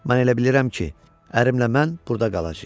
Mən elə bilirəm ki, ərimlə mən burda qalacağıq.